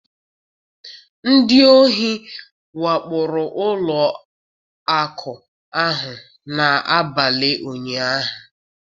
Ndị ohi wakporo ụlọ akụ ahụ n'abalị ụnyahụ